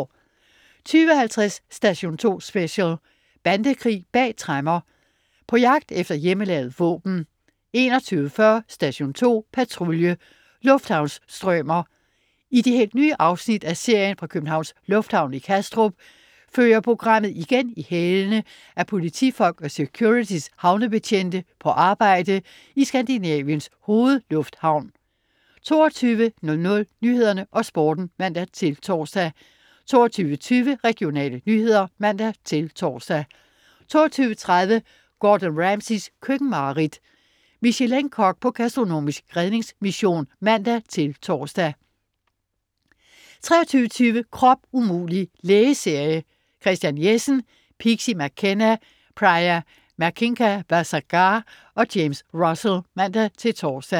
20.50 Station 2 Special: Bandekrig bag tremmer. På jagt efter hjemmelavede våben 21.40 Station 2 Patrulje: Lufthavnsstrømer. I de helt nye afsnit af serien fra Københavns Lufthavn i Kastrup følger programmet igen i hælene af politifolk og Securitys havnebetjente på arbejde i Skandinaviens hovedlufthavn 22.00 Nyhederne og Sporten (man-tors) 22.20 Regionale nyheder (man-tors) 22.30 Gordon Ramsays køkkenmareridt. Michelin-kok på gastronomisk redningsmission (man-tors) 23.20 Krop umulig! Lægeserie. Christian Jessen, Pixie McKenna, Priya Manickavasagar og James Russell (man-tors)